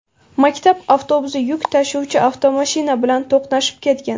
Maktab avtobusi yuk tashuvchi avtomashina bilan to‘qnashib ketgan.